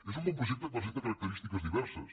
és un bon projecte que presenta característiques diverses